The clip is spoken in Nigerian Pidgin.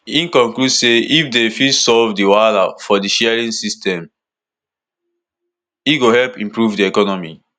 e conclude say if dem fit solve di wahala for di sharing system e go help improve di economy